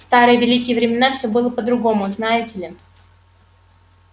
в старые великие времена все было по-другому знаете ли